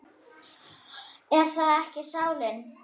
Er það ekki sálin?